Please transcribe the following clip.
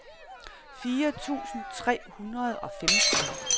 fire tusind tre hundrede og femten